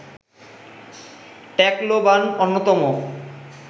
Tacloban অন্যতম